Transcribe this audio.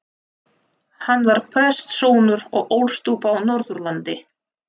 Hann var prestssonur og ólst upp á Norðurlandi.